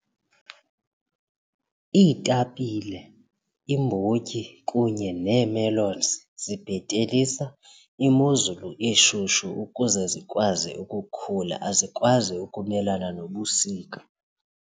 Iitapile, imbotyi kunye nee-melons zibhetelisa imozulu eshushu ukuze zikwazi ukukhula azikwazi ukumelana nobusika.